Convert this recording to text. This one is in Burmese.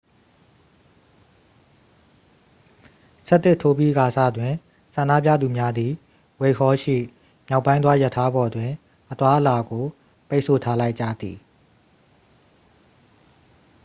11:00 ထိုးပြီးကာစတွင် ဆန္ဒပြသူများသည် ဝှိုက်ဟောလ် ရှိ မြောက်ပိုင်းသွားရထားပေါ်တွင် အသွားအလာကို ပိတ်ဆို့ထားလိုက်ကြသည်